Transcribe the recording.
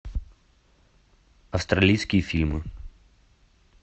австралийские фильмы